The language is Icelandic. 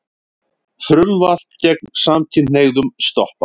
Frumvarp gegn samkynhneigðum stoppað